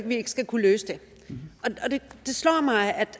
vi ikke skal kunne løse det og det slår mig at